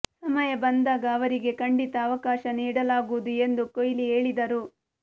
ಸಮಯ ಬಂದಾಗ ಅವರಿಗೆ ಖಂಡಿತ ಅವಕಾಶ ನೀಡಲಾಗುವುದು ಎಂದು ಕೊಹ್ಲಿ ಹೇಳಿದರು